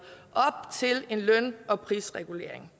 op til en løn og prisregulering